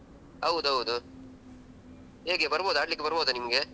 ಹೌದು ಹೌದು ಹೇಗೆ ಬರ್ಬಹುದಾ ಆಡ್ಲಿಕ್ಕೆ ಬರ್ಬಹುದಾ ನಿಮ್ಗೆ?